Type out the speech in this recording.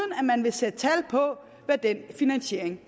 at man vil sætte tal på hvad den finansiering